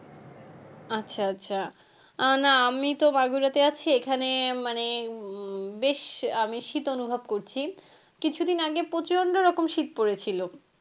আচ্ছা আচ্ছা আহ না আমিতো বাগুরাতে আছি এখানে মানে উম বেশ আমি শীত অনুভব করছি কিছুদিন আগে প্রচণ্ড রকম শীত পড়েছিলো।